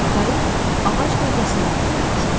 Qayıq ağac gövdəsindən yonulmuşdu.